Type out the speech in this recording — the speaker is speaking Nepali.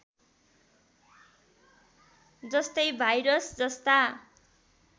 जस्तै भाइरस जस्ता